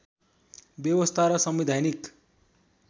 व्यवस्था र संवैधानिक